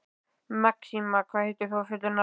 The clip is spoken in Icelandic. Maxima, hvað heitir þú fullu nafni?